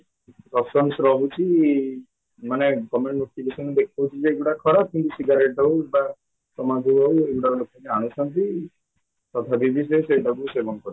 options ରହୁଛି ମାନେ government notification ଦେଖାଉଚି ଏଇଗୁଡ଼ାକ ଖରାପ କିନ୍ତୁ ସିଗାରେଟ ହଉ ବା ତାମାଖୁ ହଉ ଏଗୁଡା ଲୋକ ଜାଣୁଛନ୍ତି ସେଟାକୁ ସେବନ କରୁଛନ୍ତି